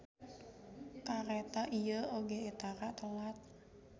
Kareta ieu oge tara telat.